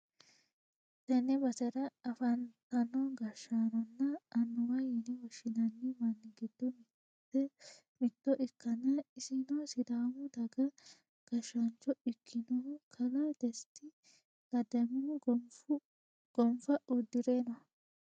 Tenne basera afantino gashshaanonna annuwa yine woshshinanni manni giddo mitto ikkanna, isino sidaamu daga gashshaancho ikkinohu kalaa desitta ledamohu gonfa uddi're no.